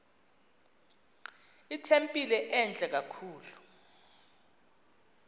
itempile entle kakhulu